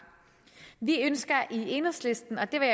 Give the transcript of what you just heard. vi ønsker i enhedslisten og det vil